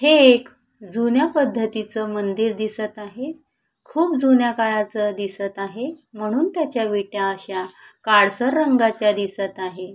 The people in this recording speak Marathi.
हे एक जुन्या पद्धतीचं मंदिर दिसत आहे खूप जुन्या काळाचं दिसत आहे म्हणून त्याच्या विटा अश्या काळसर रंगाच्या दिसत आहे.